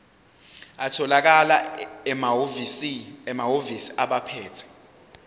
atholakala emahhovisi abaphethe